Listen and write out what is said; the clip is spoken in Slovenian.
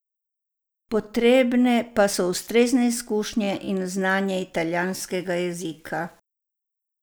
Potrebne pa so ustrezne izkušnje in znanje italijanskega jezika.